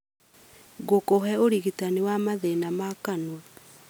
gũkũhe ũrigitani wa mathĩna ma kanua.